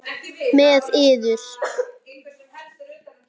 Með yður!